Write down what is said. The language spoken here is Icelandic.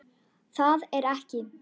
Það er ekki.